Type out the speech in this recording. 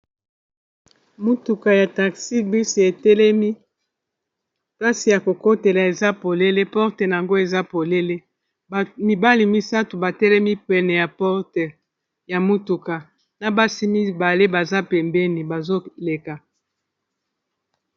motuka ya taxi bus etelemi plase ya kokotela eza polele porte yango eza polele mibali misato batelemi pene ya porte ya motuka na basi mibale baza pembeni bazoleka